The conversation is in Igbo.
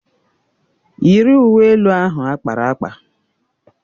Yiri uwe elu ahụ akpara akpa!